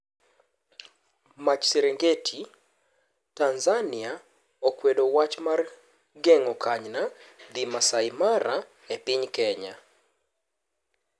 Mach Serengeti:Tanzania okwedo wach mar geng'o kanyna dhii Maasai Mara epiny Kenya.